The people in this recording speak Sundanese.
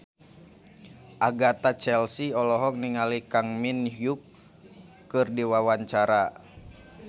Agatha Chelsea olohok ningali Kang Min Hyuk keur diwawancara